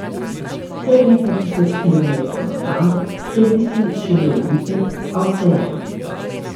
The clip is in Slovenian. Sicer nekaj tisoč kilometrov od tam, kjer bi si želel biti, a vseeno.